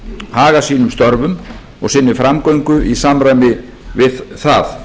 haga sínum störfum og sinni framgöngu í samræmi við það